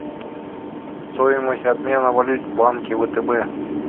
стоимость обмена валют в банке втб